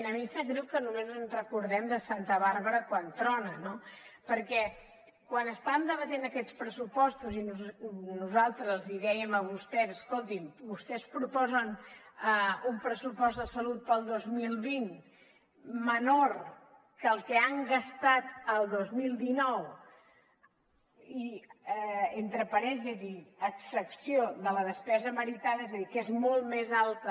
a mi em sap greu que només ens recordem de santa bàrbara quan trona no perquè quan estàvem debatent aquests pressupostos i nosaltres els dèiem a vostès escoltin vostès proposen un pressupost de salut per al dos mil vint menor que el que han gastat el dos mil dinou i entre parèntesis a excepció de la despesa meritada és a dir que és molt més alta